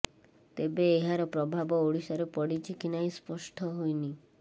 ତେବେ ଏହାର ପ୍ରଭାବ ଓଡ଼ିଶାରେ ପଡ଼ିଛି କି ନାହିଁ ସ୍ପଷ୍ଟ ହୋଇନି